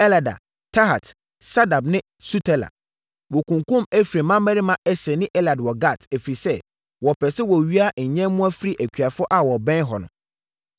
Sabad ne Sutela. Wɔkunkumm Efraim mmammarima Eser ne Elad wɔ Gat, ɛfiri sɛ, wɔpɛɛ sɛ wɔwia nyɛmmoa firi akuafoɔ a wɔbɛn hɔ no.